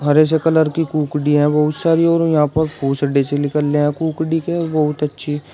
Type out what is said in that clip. हरे से कलर की कुकड़ी है बहुत सारी और यहां पर निकल रहे हैं कुकड़ी के बहुत अच्छी--